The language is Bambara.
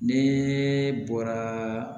Ne bɔra